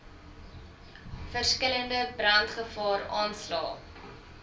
verskillende brandgevaar aanslae